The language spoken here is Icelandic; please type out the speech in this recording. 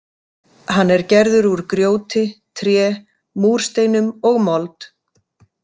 Hann er gerður úr grjóti, tré, múrsteinum og mold.